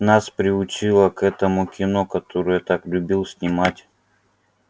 нас приучило к этому кино которое так любил снимать